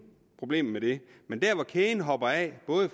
problemer med det men kæden hopper af